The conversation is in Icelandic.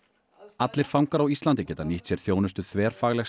allir fangar á Íslandi geta nýtt sér þjónustu þverfaglegs